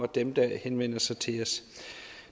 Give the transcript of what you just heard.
dem der henvender sig til os